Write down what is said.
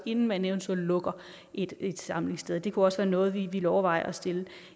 inden man eventuelt lukker et et samlingssted det kunne også være noget vi ville overveje at stille